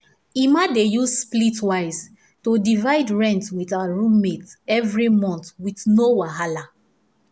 emma dey use splitwise to divide rent with her roommates every month with no wahala